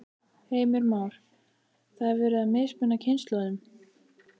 Heimir Már: Það er verið að mismuna kynslóðunum?